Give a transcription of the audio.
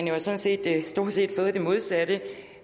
jo sådan set stort set fået det modsatte